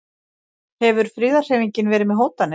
Hefur friðarhreyfingin verið með hótanir?